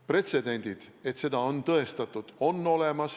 Pretsedendid, et seda on tõendatud, on olemas.